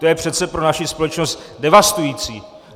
To je přece pro naši společnost devastující.